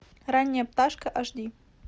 ранняя пташка аш ди